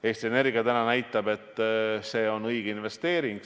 Eesti Energia näitab, et see on õige investeering.